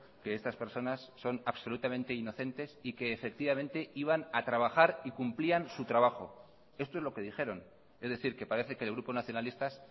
que estas personas son absolutamente inocentes y que efectivamente iban a trabajar y cumplían su trabajo esto es lo que dijeron es decir que parece que el grupo nacionalistas